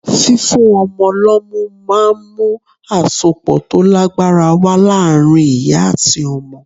Fífún ọmọ lọ́mú ma ń mú àsopọ̀ tó lágbára wá láàárín ìyá àti ọmọ.